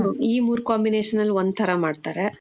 ಮ್ಮ್. ಈ ಮೂರ್ combination ಅಲ್ ಒಂದ್ ಥರ ಮಾಡ್ತಾರೆ .